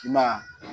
I ma ye